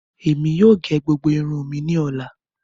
Ẹmi yóò gé gbogbo irun mi ni ọla.